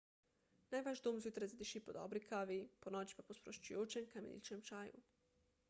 naj vaš dom zjutraj zadiši po dobri kavi ponoči pa po sproščujočem kamiličnem čaju